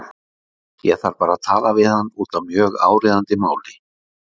Ég þarf bara að tala við hann út af mjög áríðandi máli.